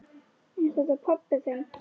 Er þetta pabbi þinn?